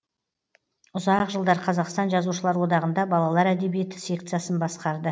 ұзақ жылдар қазақстан жазушылар одағында балалар әдиебиеті секциясын басқарды